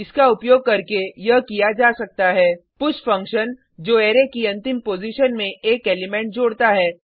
इसका उपयोग करके यह किया जा सकता है पुश फंक्शन जो अरै की अंतिम पॉजिशन में एक एलिमेंट जोड़ता है